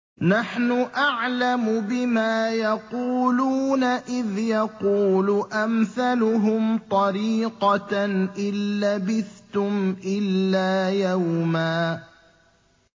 نَّحْنُ أَعْلَمُ بِمَا يَقُولُونَ إِذْ يَقُولُ أَمْثَلُهُمْ طَرِيقَةً إِن لَّبِثْتُمْ إِلَّا يَوْمًا